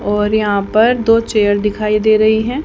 और यहां पर दो चेयर दिखाई दे रही हैं।